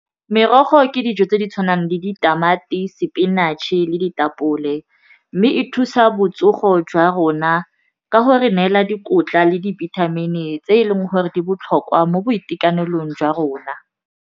Merogo ke dijo tse di tshwanang le ditamati, spinach-e le ditapole mme e thusa botsogo jwa rona ka go re neela dikotla le dibithamini tse e leng gore di botlhokwa mo boitekanelong jwa rona.